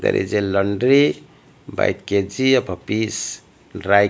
there is a laundry by Kg and piece dry --